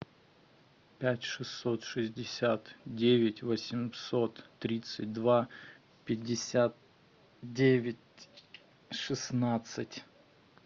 пять шестьсот шестьдесят девять восемьсот тридцать два пятьдесят девять шестнадцать